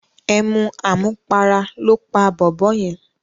Emu àmupara lóó pa bòbó yen.